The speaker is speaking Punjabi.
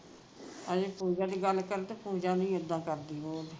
ਹਜੇ ਪੂਜਾ ਦੀ ਗੱਲ ਕਰਦੇ ਪੂਜਾ ਨਹੀਂ ਉੱਦਾ ਕਰਦੀ ਉਹ